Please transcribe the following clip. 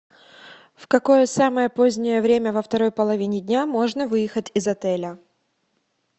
в какое самое позднее время во второй половине дня можно выехать из отеля